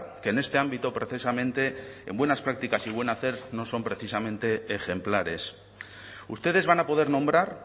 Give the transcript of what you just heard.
que en este ámbito precisamente en buenas prácticas y buen hacer no son precisamente ejemplares ustedes van a poder nombrar